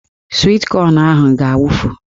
Swit kọn ahụ ga-awufu